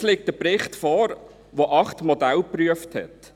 Jetzt liegt der Bericht vor, der acht Modelle geprüft hat.